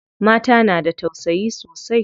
Mata na da tausayi sosai.